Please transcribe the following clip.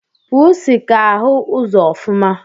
Pusi ka ahu ụzọ ofuma.